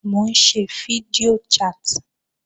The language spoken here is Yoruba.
Mò ń ṣe fídíò chat